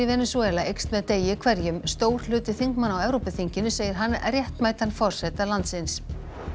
Venesúela eykst með degi hverjum stór hluti þingmanna á Evrópuþinginu segir hann réttmætan forseta landsins